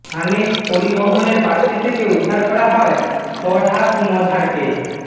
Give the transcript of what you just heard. হানিফ পরিবহনের বাসটি থেকে উদ্ধার করা হয় ফরহাদ মজহারকে